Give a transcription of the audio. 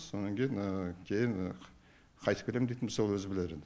сонан кейін кейін қайтіп келем дейтін болса өзі білер енді